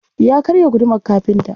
Ya karya gudumar kafinta.